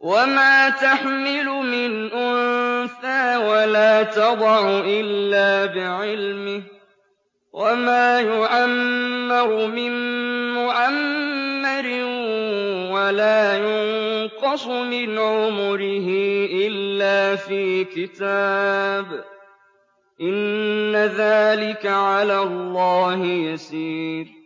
وَمَا تَحْمِلُ مِنْ أُنثَىٰ وَلَا تَضَعُ إِلَّا بِعِلْمِهِ ۚ وَمَا يُعَمَّرُ مِن مُّعَمَّرٍ وَلَا يُنقَصُ مِنْ عُمُرِهِ إِلَّا فِي كِتَابٍ ۚ إِنَّ ذَٰلِكَ عَلَى اللَّهِ يَسِيرٌ